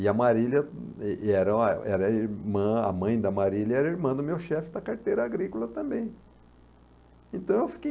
E a Marília, e era a era irmã a mãe da Marília era irmã do meu chefe da carteira agrícola também. Então eu fiquei